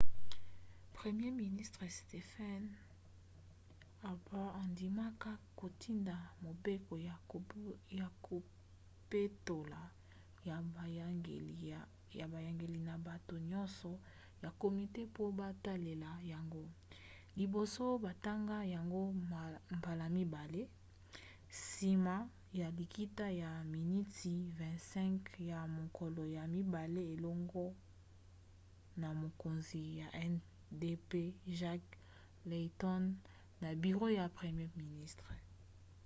premier ministre stephen harper andimaka kotinda 'mobeko ya kopetola' ya boyangeli na bato nyonso ya komite mpo batalela yango liboso batanga yango mbala ya mibale nsima ya likita ya miniti 25 ya mokolo ya mibale elongo na mokonzi ya ndp jack layton na biro ya premier ministre